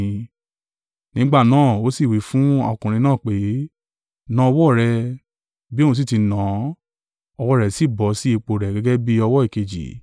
Nígbà náà, ó sì wí fún ọkùnrin náà pé, “Na ọwọ́ rẹ,” bí òun sì ti nà án, ọwọ́ rẹ̀ sì bọ̀ sí ipò rẹ̀ gẹ́gẹ́ bí ọwọ́ èkejì.